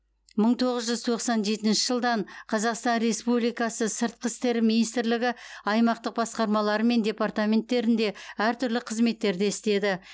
мың тоғыз жүз тоқсан жетінші жылдан қазақстан республикасы сыртқы істер министрлігі аймақтық басқармалары мен департаменттерінде әртүрлі қызметтерде істеді